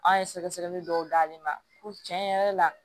An ye sɛgɛsɛgɛli dɔw d'ale ma ko tiɲɛ yɛrɛ la